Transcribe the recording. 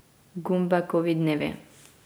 Gumbekovi dnevi.